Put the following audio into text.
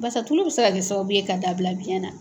Basa tulu bɛ se ka kɛ sababu ye ka da bila biyɛn na.